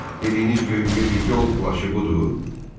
Dediyiniz yol plaşı budur?